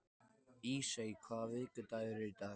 Ísey, hvaða vikudagur er í dag?